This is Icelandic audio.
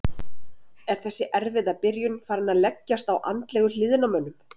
Er þessi erfiða byrjun farin að leggjast á andlegu hliðina á mönnum?